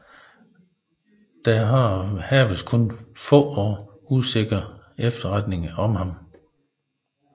Der haves kun få og usikre efterretninger om ham